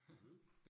Mh